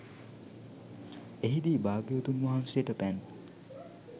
එහිදී භාග්‍යවතුන් වහන්සේට පැන්